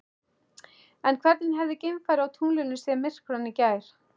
En hvernig hefði geimfari á tunglinu séð myrkvann í gær?